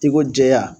I ko jɛya